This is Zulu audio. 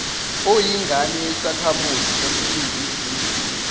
oyingane yasekhamuzi saseningizimu